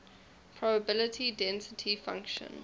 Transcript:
probability density function